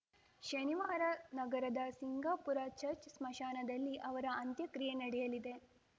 ಶನಿವಾರ ನಗರದ ಸಿಂಗಾಪುರ ಚರ್ಚ್ ಸ್ಮಶಾನದಲ್ಲಿ ಅವರ ಅಂತ್ಯಕ್ರಿಯೆ ನಡೆಯಲಿದೆ